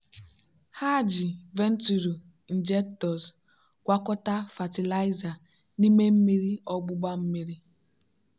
ha ji venturi injectors gwakọta fatịlaịza n'ime mmiri ogbugba mmiri.